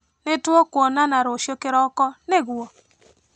Nĩtũkonana rũcio kĩroko, nĩguo?